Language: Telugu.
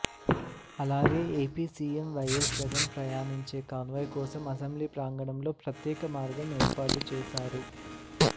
అలాగే ఏపీ సీఎం వైఎస్ జగన్ ప్రయాణించే కాన్వాయ్ కోసం అసెంబ్లీ ప్రాంగణంలో ప్రత్యేక మార్గం ఏర్పాటు చేశారు